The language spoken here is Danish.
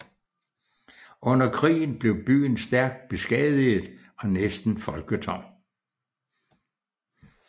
Under krigen blev byen stærkt beskadiget og næsten folketom